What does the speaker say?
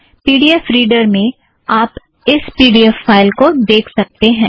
P D F reader में आप इस पी ड़ी ऐफ़ फ़ाइल को देख सकतें हैं